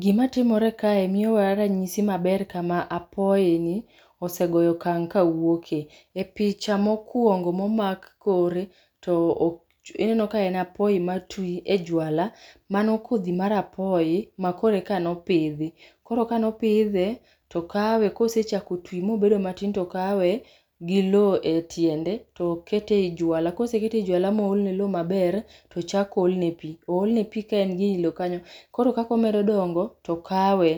Gima timore kae miyowa ranyisi maber kama apoyi ni osegoyo okang' ka wuoke. E picha mokuongo momak kore, to ineno ka en apoyi ma twi e juala. Mano kodhi mar apoyi ma koro eka nopidhi. Koro ka nopidhe, tokawe, kosechako twi mobedo matin tokawe gi loo etiende, tokete ei juala. Kosekete ei juala ma oolne loo maber, tochak oolne pi. Oolne pi ka en gi e loo kanyo. Koro kaka omedo dongo, tokawe,